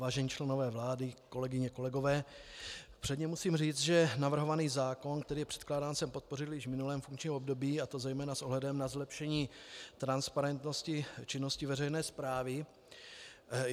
Vážení členové vlády, kolegyně, kolegové, předně musím říct, že navrhovaný zákon, který je předkládán, jsem podpořil i v minulém funkčním období, a to zejména s ohledem na zlepšení transparentnosti činnosti veřejné správy.